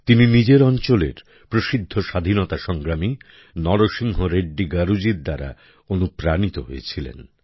তিনি নিজের অঞ্চলের প্রসিদ্ধ স্বাধীনতা সংগ্রামী নরসিংহ রেড্ডি গারুজী দ্বারা অনুপ্রাণিত হয়েছিলেন